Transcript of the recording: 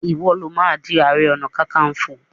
iwọ ló má dì aré ọnà kankanfo!